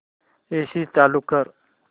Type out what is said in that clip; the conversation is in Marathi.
एसी चालू कर